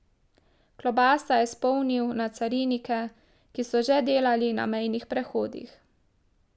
Klobasa je spomnil na carinike, ki so že delali na mejnih prehodih.